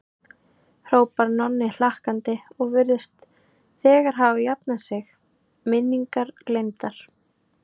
hrópar Nonni hlakkandi og virðist þegar hafa jafnað sig, minningar gleymdar.